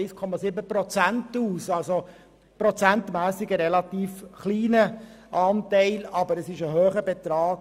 Prozentmässig ist es also ein relativ kleiner Anteil, aber der Betrag ist gross.